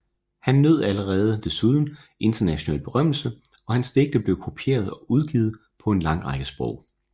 Han nød desuden allerede international berømmelse og hans digte blev kopieret og udgivet på en lang række sprog